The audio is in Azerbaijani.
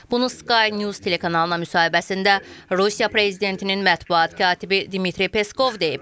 Bunu Sky News telekanalına müsahibəsində Rusiya prezidentinin mətbuat katibi Dmitri Peskov deyib.